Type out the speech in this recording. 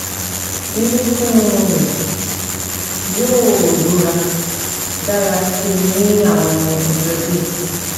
Irunfun rẹ yoo rọra dara si ni awọn ọjọ diẹ